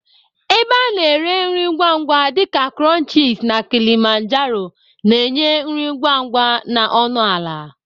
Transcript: Ebe ana ere nri ngwa ngwa dị ka krunchisi na Kilimanjaro na-enye nri ngwa ngwa na ọnụ ala.